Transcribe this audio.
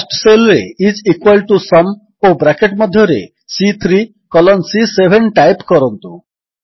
cost cell ରେ I S equal T O sum ଓ bracket ମଧ୍ୟରେ ସି3 କଲନ୍ ସି7 ଟାଇପ୍ କରନ୍ତୁ